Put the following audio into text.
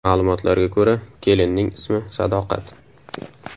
Ma’lumotlarga ko‘ra, kelinning ismi Sadoqat.